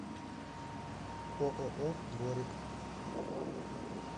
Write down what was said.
ооо дворик